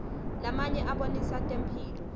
lamanye abonisa temphilo